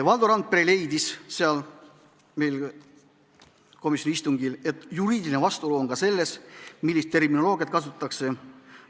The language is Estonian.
Valdo Randpere leidis komisjoni istungil, et juriidiline vastuolu on ka selles, millist terminoloogiat kasutatakse.